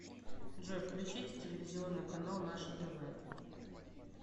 джой включите телевизионный канал наше тв